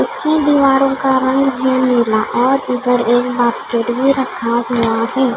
उसकी दीवारों का रंग है नीला और इधर एक बास्केट भी रखा हुआ है।